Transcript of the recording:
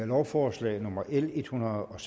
lovforslag nummer l en hundrede og